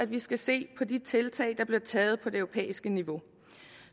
vi skal se på de tiltag der bliver taget på det europæiske niveau